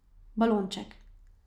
Balonček.